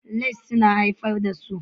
Likes suna haifar da so